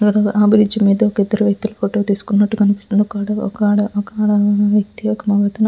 అ bridge మీద ఇద్దరు వ్యక్తులు ఫోటో తీస్తున్నట్టు కనిపిస్తుంది ఒక ఒక ఆడ వ్యక్తి ఒక మగ --